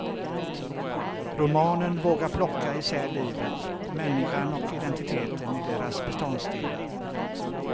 Romanen vågar plocka isär livet, människan och identiteten i deras beståndsdelar.